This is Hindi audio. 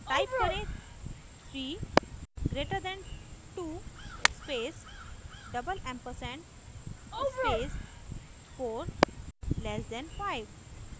टाइप करें 3 greater than 2 space double ampersand space 4 less than 5